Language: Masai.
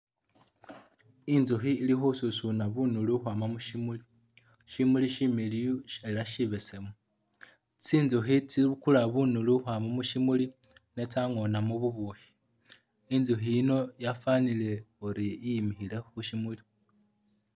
Inzukhi ili khesusuna bunulu ukhwama mu syimuli. Syimuli syimiliyu ela syibesemu, tsinzukhi tsibukula bunulu ukhwama mu syimuli ne tsangoonamu bubukhi. Inzukhi yino yafwanile uri iyimikhile khu syimuli.